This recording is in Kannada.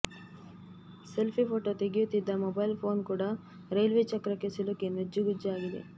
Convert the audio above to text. ಸೆಲ್ಫಿ ಫೋಟೊ ತೆಗೆಯುತ್ತಿದ್ದ ಮೊಬೈಲ್ ಪೋನ್ ಕೂಡ ರೈಲ್ವೆ ಚಕ್ರಕ್ಕೆ ಸಿಲುಕಿ ನುಜ್ಜುಗುಜ್ಜಾಗಿದೆ